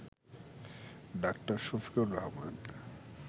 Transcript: ডা. শফিকুর রহমান